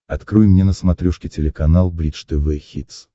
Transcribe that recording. открой мне на смотрешке телеканал бридж тв хитс